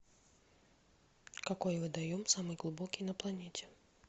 какой водоем самый глубокий на планете